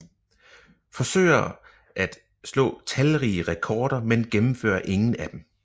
Forsøger at slå talrige rekorder men gennemfører ingen af dem